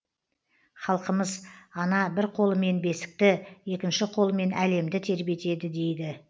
халқымыз ана бір қолымен бесікті екінші қолымен әлемді тербетеді дейді